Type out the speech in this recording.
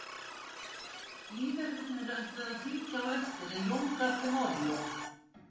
Lífverðirnir ætluðu að fylgja á eftir en Jón gaf þeim orlof.